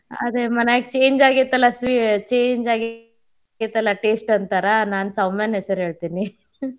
ಹಾ ಅದೇ ಮನ್ಯಾಗ change ಆಗೇತಲಾ change ಆಗೇತಲಾ taste ಅಂತಾರ ನಾನ್ ಸೌಮ್ಯಾನ್ ಹೆಸ್ರ ಹೇಳ್ತೇನಿ lough.